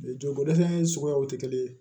Jɔ ko dɛsɛ in suguyaw tɛ kelen ye